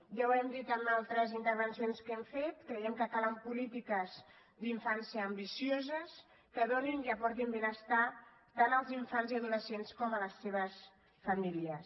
ja ho hem dit en altres intervencions que hem fet creiem que calen polítiques d’infància ambicioses que donin i aportin benestar tant als infants i adolescents com a les seves famílies